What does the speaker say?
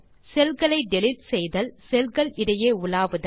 செல் களை டிலீட் செய்தல் செல் கள் இடையே உலாவுதல்